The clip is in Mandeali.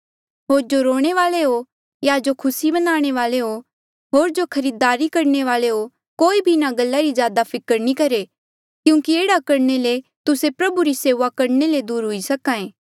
होर जो रोणे वाले हो या जो खुसी मनाणे वाले हो होर जो खरीदारी करणे वाले हो कोई भी इन्हा गल्ला री ज्यादा फिकर नी करहे क्यूंकि एह्ड़ा करणे ले तुस्से प्रभु री सेऊआ करणे ले दूर हुई सके